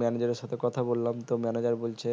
manager এর সাথে কথা বললাম তো manager বলছে